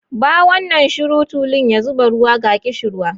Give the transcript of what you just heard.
Bawan nan shiru, tulun ya zuba ruwa, ga ƙishirwa.